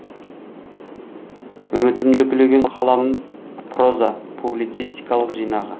үмітімді үкілеген қаламым проза публицистикалық жинағы